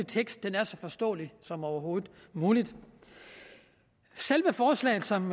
tekst er så forståelig som overhovedet muligt selve forslaget som